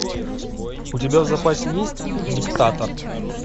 у тебя в запасе есть диктатор